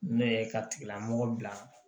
Ne ye ka tigilamɔgɔ bila